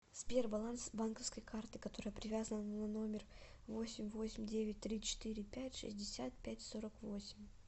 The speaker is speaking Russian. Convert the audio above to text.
сбер баланс банковской карты которая привязана на номер восемь восемь девять три четыре пять шестьдесят пять сорок восемь